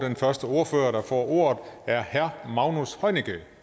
den første ordfører der får ordet er herre magnus heunicke